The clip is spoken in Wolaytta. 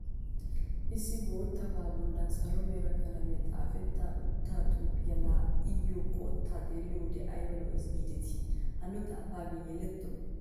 Issi boottabaa bollan salo mera qalamiyan xaafetta utta xuufiya laa iyyo qottaa xeelliyo wode ayba lo'ees giidetii! Hanno xaafaagee yeletto!